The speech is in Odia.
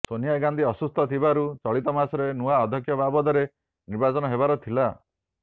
ସୋନିଆ ଗାନ୍ଧୀ ଅସୁସ୍ଥ ଥିବାରୁ ଚଳିତ ମାସରେ ନୂଆ ଅଧ୍ୟକ୍ଷ ବାବଦରେ ନିର୍ବାଚନ ହେବାର ଥିଲା